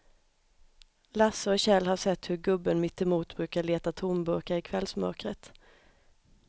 Lasse och Kjell har sett hur gubben mittemot brukar leta tomburkar i kvällsmörkret.